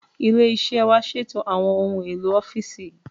Ilé iṣẹ́ wa ṣètò àwọn ohun èlò ọ́fíìsì